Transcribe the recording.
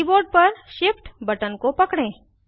keyboard पर Shift button को पकड़ें